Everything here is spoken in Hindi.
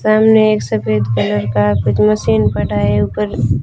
सामने एक सफेद कलर का कुछ मशीन पड़ा है ऊपर--